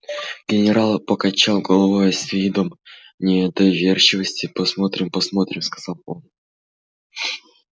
генерал покачал головою с видом недоверчивости посмотрим посмотрим сказал он